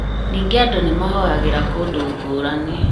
Ningĩ andũ nĩmahoyagĩra kũndũ ngũrani